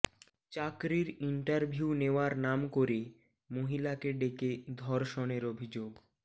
চাকরির ইন্টারভিউ নেওয়ার নাম করে মহিলাকে ডেকে ধর্ষণের অভিযোগ